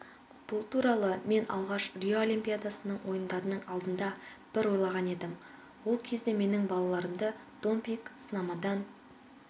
бұл туралы мен алғаш рио олимпиадасының ойындарының алдында бір ойлған едім ол кезде менің балаларымды допинг-сынамадан